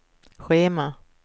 schema